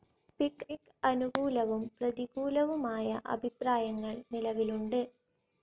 പിക്ക്‌ അനുകൂലവും പ്രതികൂലവുമായ അഭിപ്രായങ്ങൾ നിലവിലുണ്ട്.